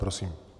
Prosím.